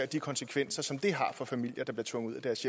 de konsekvenser som det har for familier der blev tvunget ud af deres